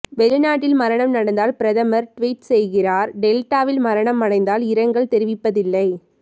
வெளிநாட்டில் மரணம் நடந்தால் பிரதமர் டுவிட் செய்கிறார் டெல்டாவில் மரணம் அடைந்தால் இரங்கல் தெரிவிப்பதில்லை